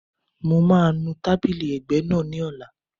Mo máa nu tábìlì ẹ̀gbẹ́ náà ní ọ̀la